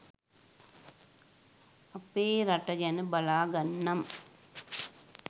අපේ රට ගැන බලාගන්නම්.